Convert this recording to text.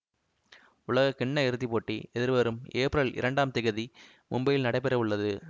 உலக கிண்ண இறுதி போட்டி எதிர்வரும் ஏப்ரல் இரண்டாம் திகதி மும்பையில் நடைபெறவுள்ளது